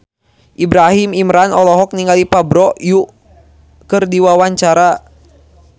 Ibrahim Imran olohok ningali Park Bo Yung keur diwawancara